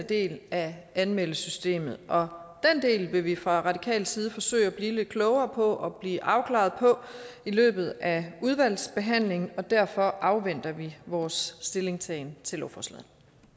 del af anmeldesystemet og den del vil vi fra radikal side forsøge at blive lidt klogere på og blive afklaret på i løbet af udvalgsbehandlingen og derfor afventer vi i vores stillingtagen til lovforslaget